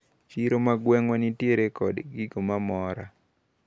Chiro magwengwa nitiere kod gimoramora.